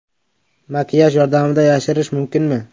Makiyaj yordamida yosharish mumkinmi?.